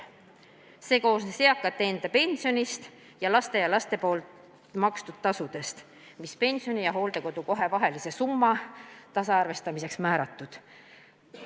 See koosnes eakate enda pensionist ning laste ja lastelaste makstud tasudest, mis pensioni ja hooldekodukoha vahelise summa tasaarvestamiseks määratud.